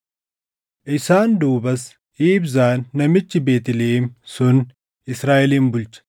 Isaan duubas Ibzaan namichi Beetlihem sun Israaʼelin bulche.